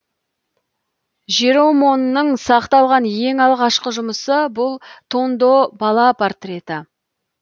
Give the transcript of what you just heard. жеромонның сақталған ең алғашқы жұмысы бұл тондо бала портреті